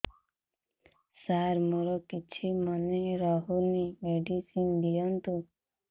ସାର ମୋର କିଛି ମନେ ରହୁନି ମେଡିସିନ ଦିଅନ୍ତୁ